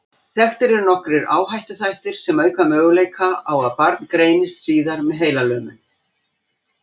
Þekktir eru nokkrir áhættuþættir sem auka möguleika á að barn greinist síðar með heilalömun.